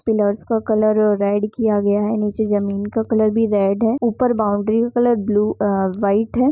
Pillars का colour डेर किया गया है निचे जमीं का कलर रेड है ऊपर बॉउंड्री का कलर ब्लू वाइट है।